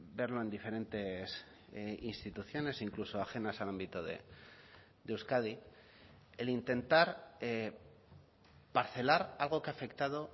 verlo en diferentes instituciones incluso ajenas al ámbito de euskadi el intentar parcelar algo que ha afectado